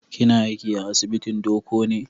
Kina aiki a asibitin Doko ne?